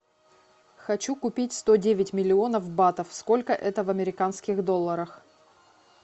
хочу купить сто девять миллионов батов сколько это в американских долларах